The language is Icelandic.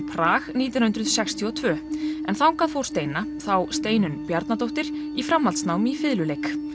Prag nítján hundruð sextíu og tvö en þangað fór steina þá Steinunn Bjarnadóttir í framhaldsnám í fiðluleik